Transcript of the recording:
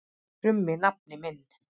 krummi nafni minn.